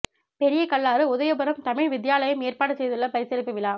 பெரிய கல்லாறு உதயபுரம் தமிழ் வித்தியாலயம் ஏற்பாடு செய்துள்ள பரிசளிப்பு விழா